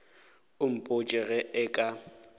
o mpotše ge e ka